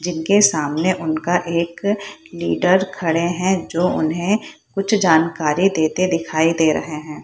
जिनके सामने उनका एक लीडर खड़े है जो उन्हें कुछ जानकारी देते दिखाई दे रहे है।